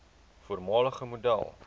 voormalige model